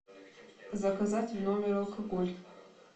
заказать в номер алкоголь